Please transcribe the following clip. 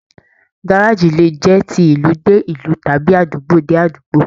Gárájí le jẹ tí ìlú dé ìlú tàbí àdúgbò dé àdúgbò.